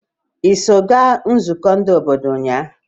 Iso ga nzụkọ ndi obodo unya?